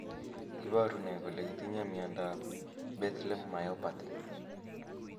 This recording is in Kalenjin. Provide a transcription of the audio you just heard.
Iporu ne kole itinye miondap Bethlem myopathy?